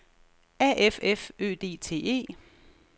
A F F Ø D T E